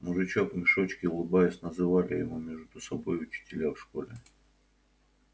мужичок в мешочке улыбаясь называли его между собой учителя в школе